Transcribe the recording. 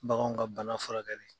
Baganw ka bana furakɛli.